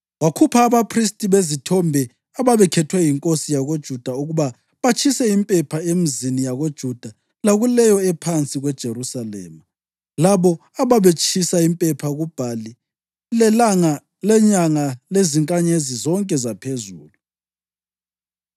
Wakhupha abaphristi bezithombe ababekhethwe yinkosi yakoJuda ukuba batshise impepha emizini yakoJuda lakuleyo ephansi kweJerusalema, labo ababetshisa impepha kuBhali lelanga lenyanga lezinkanyezi zonke zaphezulu.